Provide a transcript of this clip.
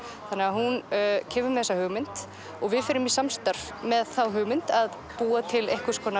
hún kemur með þessa hugmynd og við förum í samstarf með þá hugmynd að búa til